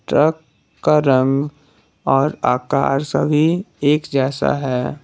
Truck का रंग और आकार सभी एक जैसा है।